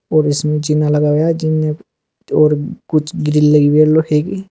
और इसमें झीना लगाया गया है और कुछ ग्रिल लगी है लोहे की।